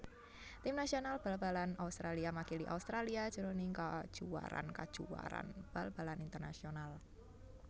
Tim nasional bal balan Australia makili Australia jroning kajuwaraan kajuwaraan bal balan internasional